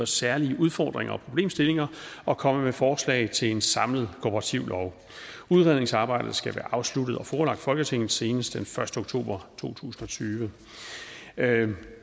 særlige udfordringer og problemstillinger og komme med forslag til en samlet kooperativlov udredningsarbejdet skal være afsluttet og forelagt folketinget senest den første oktober to tusind og tyve